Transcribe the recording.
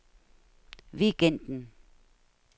weekenden